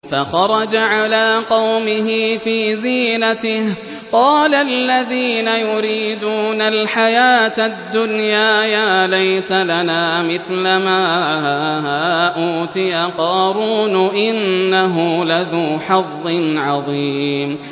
فَخَرَجَ عَلَىٰ قَوْمِهِ فِي زِينَتِهِ ۖ قَالَ الَّذِينَ يُرِيدُونَ الْحَيَاةَ الدُّنْيَا يَا لَيْتَ لَنَا مِثْلَ مَا أُوتِيَ قَارُونُ إِنَّهُ لَذُو حَظٍّ عَظِيمٍ